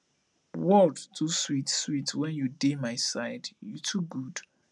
world too sweet sweet when you dey my side you too good